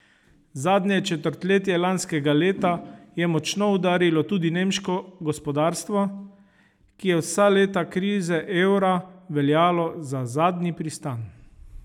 Zadnje četrtletje lanskega leta je močno udarilo tudi nemško gospodarstvo, ki je vsa leta krize evra veljalo za zadnji pristan.